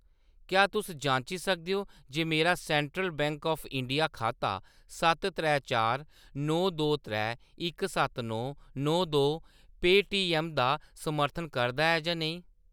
क्या तुस जांची सकदे ओ जे मेरा सैंट्रल बैंक ऑफ इंडिया खाता सत्त त्रै चार नौ दो त्रै इक सत्त नौ नौ दो पेऽटीऐम्म दा समर्थन करदा ऐ जां नेईं ?